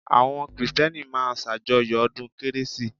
Àwọn Krìstẹ́nì máa ń sàjọyọ̀ ọdún kérésì